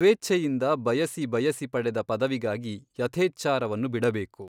ಸ್ವೇಚ್ಛೆಯಿಂದ ಬಯಸಿ ಬಯಸಿ ಪಡೆದ ಪದವಿಗಾಗಿ ಯಥೇಚ್ಛಾಚಾರವನ್ನು ಬಿಡಬೇಕು.